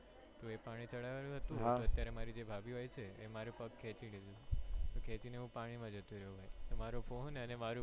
પાણી ચઢાવેલું હતું અત્યારે જે મારી ભાભી હોય છે એ મારો પગ ખેચી લીધું તું ખેચી ને હું પાણી માં જતો રહ્યો ભાઈ મારો ફોન અને મારો